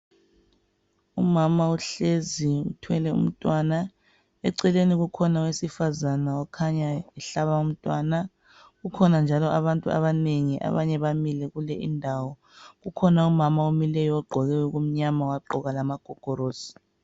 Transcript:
umama uhlezi uthwele umntwana eceleni kukhona owesifazana okhanya ehlaba umntwana kukhona njalo abantu abanengi abanye bamile kule indawo kukhona umama omileyo ogqoke okumnyama wagqoka lamagogorosi